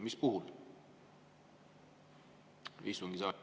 Mis puhul?